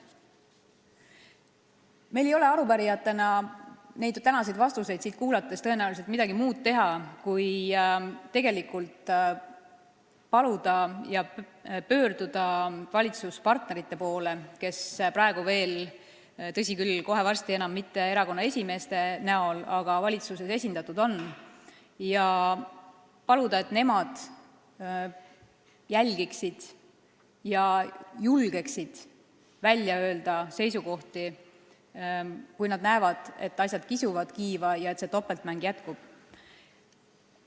Meil ei ole arupärijatena, olles neid tänaseid vastuseid siin kuulnud, tõenäoliselt midagi muud teha kui pöörduda valitsuspartnerite poole, kes praegu veel – tõsi küll, kohe varsti ei esinda kumbagi neist seal enam mitte erakonna esimees – valitsuses esindatud on, ja paluda, et nemad julgeksid välja öelda oma seisukohti, kui nad näevad, et asjad kisuvad kiiva ja see topeltmäng jätkub.